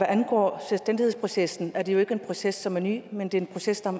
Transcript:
angår selvstændighedsprocessen er det jo ikke en proces som er ny men det er en proces